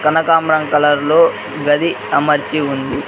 కనకాంబరం కలర్ లో గది అమర్చి ఉంది.